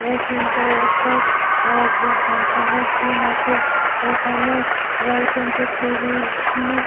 এই সিন্ -থে একটা ফাংশন এর সিন্ আছে। এখানে ওয়েলকাম টু ট্যুরিসম --